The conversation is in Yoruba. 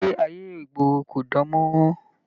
Ìgbé ayé ìgboro kò dàn mọ́ràn.